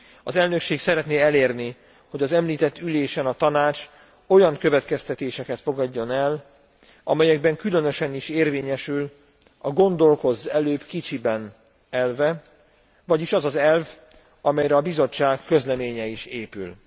Az elnökség szeretné elérni, hogy az említett ülésen a Tanács olyan következtetéseket fogadjon el, amelyekben különösen is érvényesül a gondolkozz előbb kicsiben elve, vagyis az az elv, amelyre a Bizottság közleménye is épül.